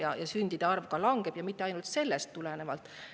Aga ainult sellest tulenevalt.